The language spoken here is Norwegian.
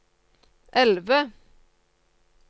elve